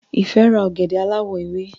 Ife rà ògèdè aláwò ewé